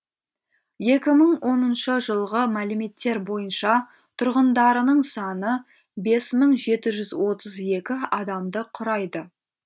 екі мың оныншы жылғы мәліметтер бойынша тұрғындарының саны бес мың жеті жүз отыз екі адамды құрайды